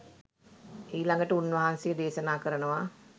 ඊළඟට උන්වහන්සේ දේශනා කරනවා